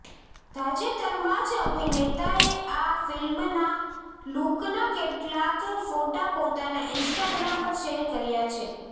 તાજેતરમાં જ અભિનેતાએ આ ફિલ્મના લુકના કેટલાક ફોટા પોતાના ઇન્સ્ટાગ્રામ પર શેર કર્યા છે